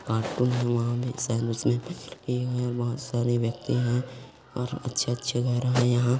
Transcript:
व्यक्ति है और अच्छे अच्छे घर है यहाँ ।